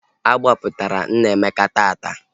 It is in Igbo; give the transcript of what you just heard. A gbapụtara Nnaemeka taata